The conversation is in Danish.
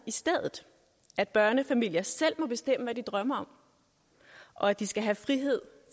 at børnefamilier selv må bestemme hvad de vil drømme om og at de skal have frihed